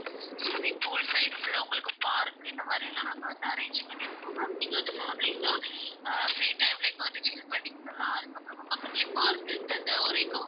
Swimming pool side full லா உங்களுக்கு park இந்த மாதிரியெல்லாம் நாங்க வந்து arrange பண்ணிருக்கோம் ma'am நீங்க வந்து families சா ஆஹ் free time ல இங்க வந்து chill பண்ணிக்கலாம். அதுக்கப்புறமா பக்கத்துலையே park இருக்கு அந்த ஒரே compound ல.